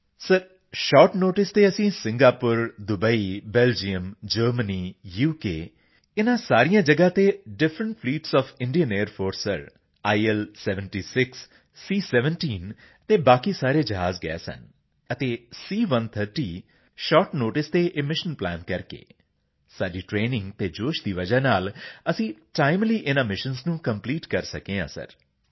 GRP CPT sir short notice ਤੇ ਅਸੀਂ Singapore Dubai Belgium Germany ਅਤੇ ਉਕ ਇਸ ਸਭ ਜਗ੍ਹਾ ਤੇ different fleets of the Indian air force sir IL76 C17 ਅਤੇ ਬਾਕੀ ਸਾਰੇ ਜਹਾਜ਼ ਗਏ ਸਨ ਅਤੇ C130 ਜੋ ਸ਼ਾਰਟ ਨੋਟਿਸ ਤੇ ਇਹ ਮਿਸ਼ਨਜ਼ ਪਲਾਨ ਕਰਕੇ ਸਾਡੀ ਟਰੇਨਿੰਗ ਅਤੇ ਜੋਸ਼ ਦੀ ਵਜ੍ਹਾ ਨਾਲ ਅਸੀਂ ਟਾਈਮਲੀ ਇਨ੍ਹਾਂ ਮਿਸ਼ਨਜ਼ ਨੂੰ ਕੰਪਲੀਟ ਕਰ ਸਕੇ ਸਰ